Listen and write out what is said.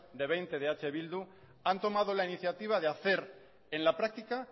de veinte de eh bildu han tomado la iniciativa de hacer en la práctica